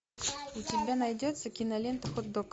у тебя найдется кинолента хот дог